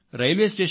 ప్రజలు చూస్తారు